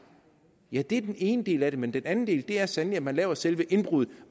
ja det er den ene del af det men den anden del er sandelig at man laver selve indbruddet